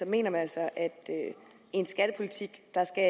mener man altså at i en skattepolitik skal